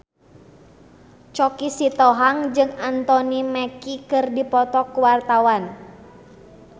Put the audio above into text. Choky Sitohang jeung Anthony Mackie keur dipoto ku wartawan